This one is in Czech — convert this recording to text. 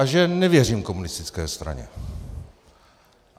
A že nevěřím komunistické straně.